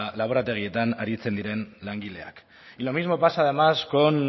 laborategietan aritzen diren langileak y lo mismo pasa además con